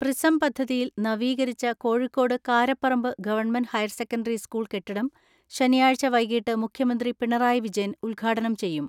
Prism പദ്ധതിയിൽ നവീകരിച്ച Kozhikode Karaparamba government higher secondary school കെട്ടിടം ശനിയാഴ്ച വൈകീട്ട് മുഖ്യമന്ത്രി പിണറായി വിജയൻ ഉദ്ഘാ ടനം ചെയ്യും.